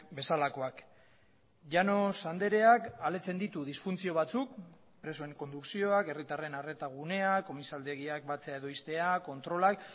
bezalakoak llanos andreak aletzen ditu disfuntzio batzuk presoen kondukzioak herritarren arreta gunea komisaldegiak batzea edo ixtea kontrolak